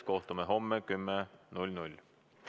Kohtume homme kell 10.